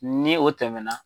Ni o tɛmɛna